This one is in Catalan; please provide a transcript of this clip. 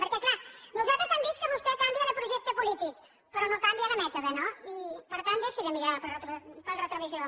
perquè clar nosaltres hem vist que vostè canvia de projecte polític però no canvia de mètode no i per tant deixi de mirar pel retrovisor